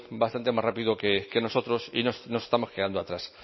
bastante más rápido que nosotros y nos estamos quedando atrás